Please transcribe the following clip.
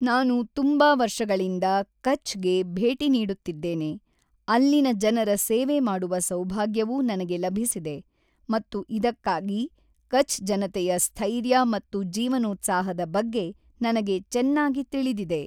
ನಾನು ತುಂಬಾ ವರ್ಷಗಳಿಂದ ಕಛ್ ಗೆ ಭೇಟಿ ನೀಡುತ್ತಿದ್ದೇನೆ, ಅಲ್ಲಿನ ಜನರ ಸೇವೆ ಮಾಡುವ ಸೌಭಾಗ್ಯವೂ ನನಗೆ ಲಭಿಸಿದೆ ಮತ್ತು ಇದಕ್ಕಾಗಿ ಕಛ್ ಜನತೆಯ ಸ್ಥೈರ್ಯ ಮತ್ತು ಜೀವನೋತ್ಸಾಹದ ಬಗ್ಗೆ ನನಗೆ ಚೆನ್ನಾಗಿ ತಿಳಿದಿದೆ.